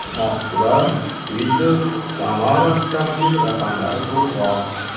Moskva, Piter, Samara avtomobil raqamlari ko‘proq.